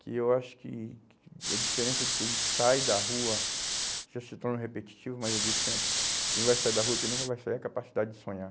que eu acho que que a diferença de quem sai da rua, isso se torna repetitivo, mas eu digo sempre, quem vai sair da rua, quem nunca vai sair, é a capacidade de sonhar.